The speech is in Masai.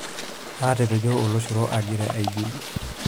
Aatapejo oloshoro agira aijul.